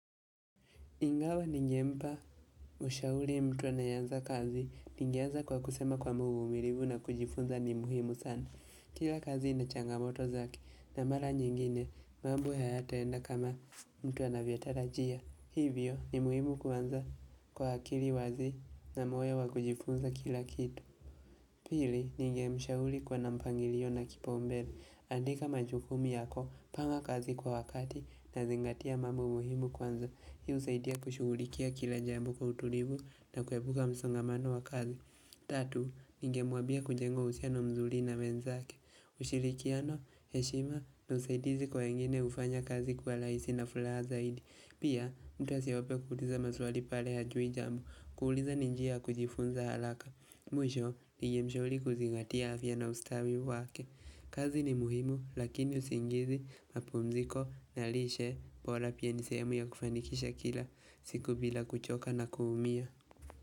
Ingawa ningempa ushauli mtu anayeanza kazi, ningeanza kwa kusema kwamba uvumilivu na kujifunza ni muhimu sana. Kila kazi inachangamoto zake, na mara nyingine, mambo hayataenda kama mtu anavyotarajia. Hivyo, ni muhimu kuanza kwa akili wazi na moyo wa kujifunza kila kitu. Pili, ningemshauli kuwa na mpangilio na kipaumbele. Andika majukumi yako, panga kazi kwa wakati na zingatia mambo muhimu kwanza. Hi husaidia kushugulikia kila jambo kwa utulivu na kuepuka msongamano wa kazi. Tatu, ninge mwabia kujenga uhusiano mzuli na wenzake ushirikiano, heshima na usaidizi kwa wengine ufanya kazi kwa laisi na fulaha zaidi Pia, mtu asiogope kuuliza maswali pale hajui jambo kuuliza ni njia ya kujifunza halaka Mwisho, ninge mshauri kuzigatia afya na ustawi wake kazi ni muhimu, lakini usingizi mapumziko na lishe bola pia nisehemu ya kufanikisha kila, siku bila kuchoka na kuumia.